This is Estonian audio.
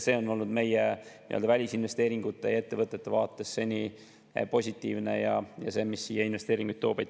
See on olnud meie välisinvesteeringute ja ettevõtete vaates seni positiivne, see, mis siia investeeringuid toob.